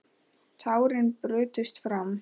Tárin brutust fram.